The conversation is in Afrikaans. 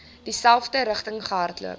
dieselfde rigting gehardloop